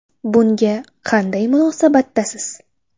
Bunga qanday munosabatdasiz?